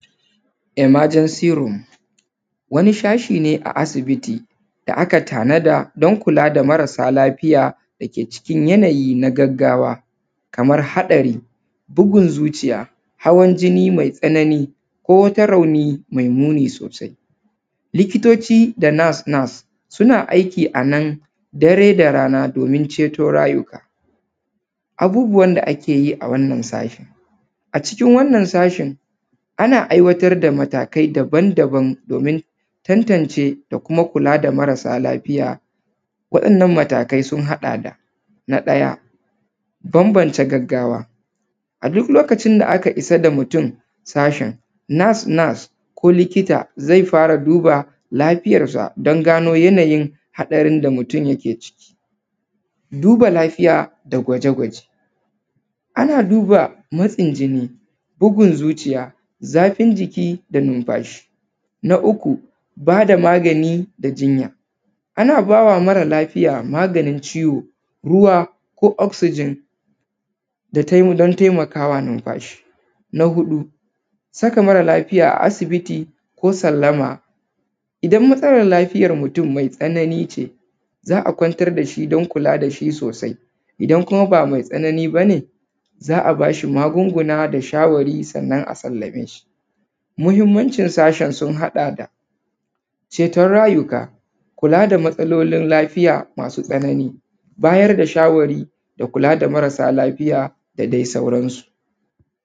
Emergency room wani sashi ne a asibiti da aka tanada don kula da mara lafiya da ke cikin yanayi na gaggawa kamar haɗari, bugun zuciya, hawan jini ko wata rauni me muni sosai. Likitoci da nurse-nurse suna aiki a nan dare da rana domin ceto rayuka abubuwan da ake yi a wannan safe a cikin wanna sashi ana aiwatar da tunani daban-daban domin tantance da kuma kula da mara lafiya waɗanna matakai sun haɗa da: na ɗaya bambance gaggawa a duk sanda aka isa da mutun sashin nurse-nurse ko likita zai fara duba lafiyansa ya gano a haɗarin da yake ciki duba lafiya da gwaje gwaje a duba matsin jini bugun zuciya zafin jiki da nunfashi na uku bada magani da jinya. Ana ba da mara lafiya maganin ciwo, ruwa ko oxcygen don taimaka ma rayuwan shi na huɗu saka mata lafiya a asibiti ko sallama idan matsalan lafiyan mutun me tsanani ce za a kwantar da shi don kula da shi sosai, idan kuma ba mai tsanani ba ne za a ba shi magunguna da shawarwari sannan a tanbaye shi muhinmanin sashin sun haɗada ceton rayuka kula da matsalolin lafiya masu tsanani bayar da shawari kula da marasa lafiya da dai sauransu.